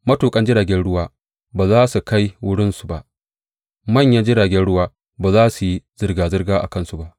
Matuƙan jirgin ruwa ba za su kai wurinsu ba, manyan jiragen ruwa ba za su yi zirga zirga a kansu ba.